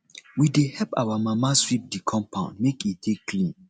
we dey help our mama sweep di compound make e dey clean